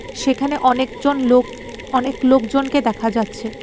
সেখানে অনেক জন লোক অনেক লোকজনকে দেখা যাচ্ছে.